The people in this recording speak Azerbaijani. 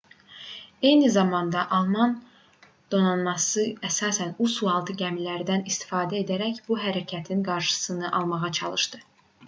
eyni zamanda alman donanması əsasən u sualtı gəmilərindən istifadə edərək bu hərəkətin qarşısını almağa çalışdı